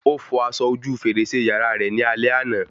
Ó fọ aṣọ ojú fèrèsé yàrá rẹ ni alẹ́ àná